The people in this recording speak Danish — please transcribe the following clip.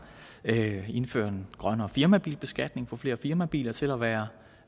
at indføre en grønnere firmabilbeskatning få flere firmabiler til at være